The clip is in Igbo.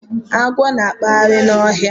Agwọ na-akpagharị n'ọhịa.